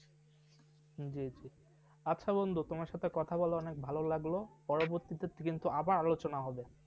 হম জিজি আচ্ছা বন্ধু তোমার সাথে কথা বলা অনেক ভালো লাগলো পরবর্তীতে কিন্তু আবার আলোচনা হবে ।